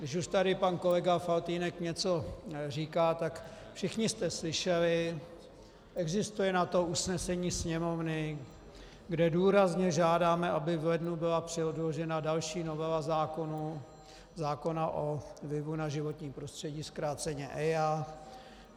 Když už tady pan kolega Faltýnek něco říká, tak všichni jste slyšeli, existuje na to usnesení Sněmovny, kde důrazně žádáme, aby v lednu byla předložena další novela zákona o vlivu na životní prostředí, zkráceně EIA.